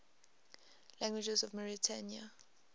languages of mauritania